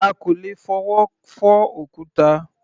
À kò lè fọwọ́ fọ́ òkúta.